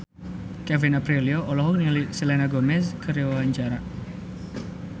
Kevin Aprilio olohok ningali Selena Gomez keur diwawancara